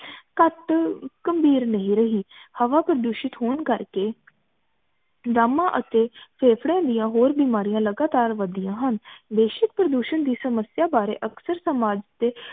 ਘਟ ਘੰਬੀਰ ਨਹੀਂ ਰਹੀ ਹਵਾ ਪ੍ਰਦੂਸ਼ਿਤ ਹੋਣ ਕਰ ਕੇ ਦਮਾ ਅਤੇ ਫੇਂਫੜੇ ਦੀਆਂ ਹੋਰ ਬੀਮਾਰੀਆਂ ਲਗਾਤਰ ਵਧਿਆ ਹਨ ਭੇਸ਼ਕ ਪ੍ਰਦੂਸ਼ਨ ਦੀ ਸਮਸਿਆ ਬਾਰੇ ਅਕਸਰ ਸਮਾਜ ਦੇ